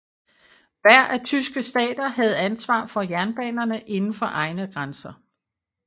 Hver af tyske stater havde ansvar for jernbanerne indenfor egne grænser